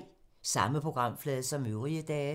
Samme programflade som øvrige dage